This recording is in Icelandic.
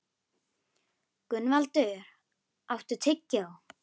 Gunnvaldur, áttu tyggjó?